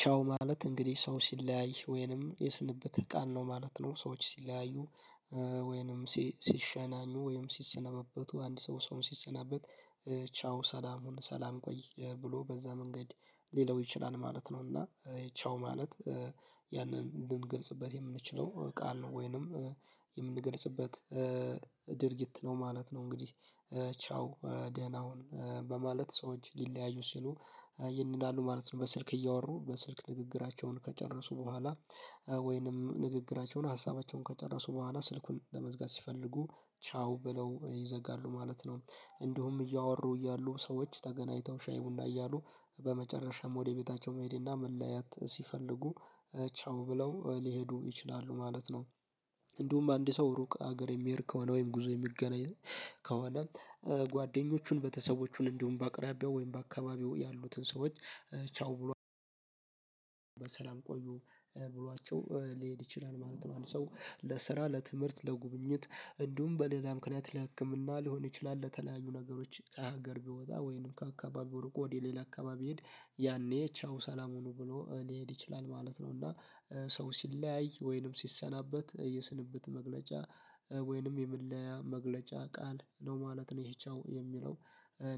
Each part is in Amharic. ቻው ማለት እንግዲህ ሰው ሲለያይ ወይንም የስንብተ ቃል ነው ማለት ነው ሰዎች ሲለያዩ ወይንም ሲሸናኙ ወይንም ሲሰነበቡ አንድ ሰው ሰውን ሲሰናበት ቻው ሰላም ሁን ሰላም ቆይ ብሎ በዛ መንገድ ሊለው ይችላል ማለት ነው እና ቻው ማለት ያንን ልንገልጽበት የምንችለው ቃል ነው ወይንም የምንገልጽበት ድርጊት ነው ማለት ነው እንግዲህ ቻው ደህና ሁን በማለት ሰዎች ሊለያዩ ሲሉ ይሄን ይላሉ ማለት ነው በስልክ እያወሩ በስልክ ንግግራቸውን ከጨረሱ በኋላ ወይንም ንግግራቸውን ሀሳባቸውን ከጨረሱ በኋላ ስልኩን ለመዝገብ ሲፈልጉ ቻው ብለው ይዘጋሉ ማለት ነው እንዲሁም እያወሩ እያሉ ሰዎች ተገናኝተው ሻይ ቡና እያሉ በመጨረሻም ወደ ቤታቸው መሄዴና መለያየት ሲፈልጉ ቻው ብለው ሊሄዱ ይችላሉ ማለት ነው እንዲሁም አንድ ሰው ሩቅ አገር የሚሄድ ከሆነ ወይም ጉዞ የሚገናኝ ከሆነ ጓደኞቹን በተሰቦቹን እንዲሁም በአቅራቢያው ወይም በአካባቢው ያሉትን ሰዎች ቻው ብሎ በሰላም ቆዩ ብሏቸው ሊሄድ ይችላል ማለት ነው አንድ ሰው ለስራ ለትምህርት ለጉብኝት እንዲሁም በሌላ ምክንያት ለህክምና ሊሆን ይችላል ለተለያዩ ነገሮች ከሀገር ቢወጣ ወይንም ከአካባቢው ርቆ ወደ ሌላ አካባቢ ሄድ ያኔ ቻው ሰላም ሆኖ ብሎ ሊሄድ ይችላል ማለት ነው እና ሰው ሲለያይ ወይንም ሲሰናበት የስንብት መግለጫ ወይንም የመለያያ መግለጫ ቃል ነው ማለት ነው ይህ ቻው የሚለው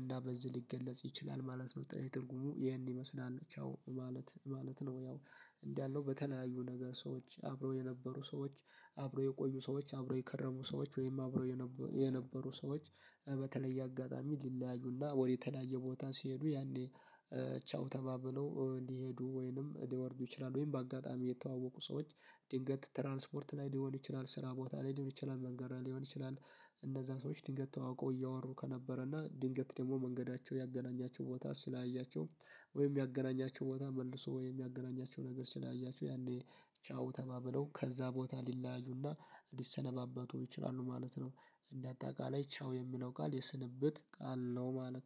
እና በዚህ ሊገለጽ ይችላል ማለት ነው። ትርጉሙ ይሄን ይመስላል ቻው ማለት ማለት ነው ያው እንዳልነው በተለያዩ ነገር ሰዎች አብረው የነበሩ ሰዎች አብረው የቆዩ ሰዎች አብረው የከረሙ ሰዎች ወይም አብረው የነበሩ ሰዎች በተለየ አጋጣሚ ሊለያዩና ወደ የተለያየ ቦታ ሲሄዱ ያኔ ቻው ተባብለው ሊሄዱ ወይንም ሊወርዱ ይችላል ወይም በአጋጣሚ የተዋወቁ ሰዎች ድንገት ትራንስፖርት ላይ ሊሆን ይችላል ስራ ቦታ ላይ ሊሆን ይችላል መንገድ ላይ ሊሆን ይችላል እነዛ ሰዎች ድንገት ተዋውቆ እያወሩ ከነበረና ድንገት ደግሞ መንገዳቸው ያገናኛቸው ቦታ ሲለያያቸው ወይም ያገናኛቸው ቦታ መልሶ ወይም የሚያገናኛቸው ነገር ሲለያያችው ያኔ ቻው ተባብለው ከዛ ቦታ ሊለያዩና ሊሰነባበቱ ይችላሉ ማለት ነው እንደ አጠቃላይ ቻው የሚለው ቃል የስንብት ቃል ነው ማለት